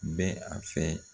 N bɛ a fɛ